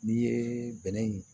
N'i ye bɛnɛ in